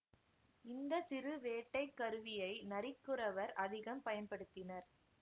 இந்த சிறு வேட்டை கருவியை நரிக்குறவர் அதிகம் பயன்படுத்தினர்